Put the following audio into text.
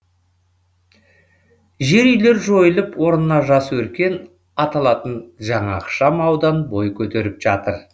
жер үйлер жойылып орнына жас өркен аталатын жаңа ықшам аудан бой көтеріп жатыр